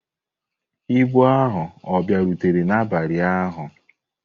Ibu ahụ ọ bịarutere n'abalị ụnyahụ?